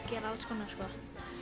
gera alls konar sko